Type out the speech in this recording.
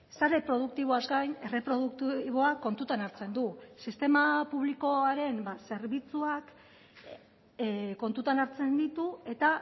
sare produktiboaz gain erreproduktiboa kontutan hartzen du sistema publikoaren zerbitzuak kontutan hartzen ditu eta